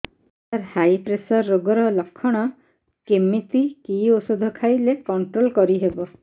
ସାର high pressure ରୋଗର ଲଖଣ କେମିତି କି ଓଷଧ ଖାଇଲେ କଂଟ୍ରୋଲ କରିହେବ